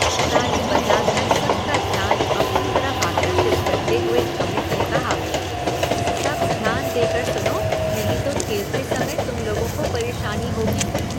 ताली बजाकर सबका ध्यान अपनी तरफ़ आकर्षित करते हुए अमित ने कहा, सब ध्यान देकर सुनो नहीं तो खेलते समय तुम लोगों को परेशानी होगी।